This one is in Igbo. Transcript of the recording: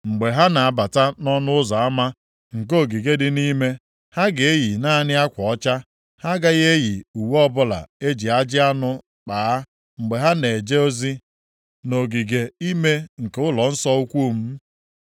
“ ‘Mgbe ha na-abata nʼọnụ ụzọ ama nke ogige dị nʼime, ha ga-eyi naanị akwa ọcha. Ha agaghị eyi uwe ọbụla e ji ajị anụ kpaa mgbe ha na-eje ozi nʼogige ime nke ụlọnsọ ukwu m.